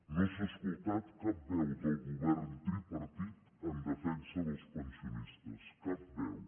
no s’ha escoltat cap veu del govern tripartit en defensa del pensionistes cap veu